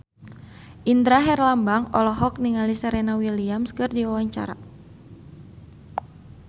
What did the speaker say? Indra Herlambang olohok ningali Serena Williams keur diwawancara